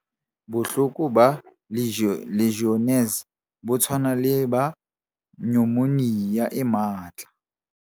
Bohloko ba Legionnaires bo tshwana le ba nyomonia e matla.